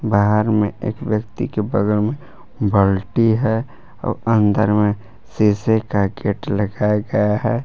बाहर में एक व्यक्ति के बगल में बाल्टी है और अंदर में शीशे का गेट लगाया गया है।